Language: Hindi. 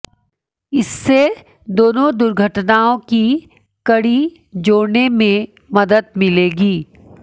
इससे दोनों दुर्घटनाओं की कड़ी जोड़ने में मदद मिलेगी